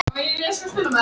Hunsa fyrirmæli hersins